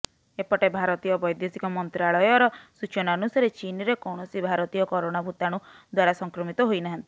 ଏପଟେ ଭାରତୀୟ ବୈଦେଶିକ ମନ୍ତ୍ରଣାଳୟର ସୂଚନା ଅନୁସାରେ ଚୀନରେ କୌଣସି ଭାରତୀୟ କରୋନା ଭୂତାଣୁ ଦ୍ୱାରା ସଂକ୍ରମିତ ହୋଇନାହାନ୍ତି